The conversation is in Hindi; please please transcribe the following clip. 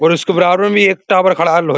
और इसके बराबर में एक टावर खड़ा है लोहे --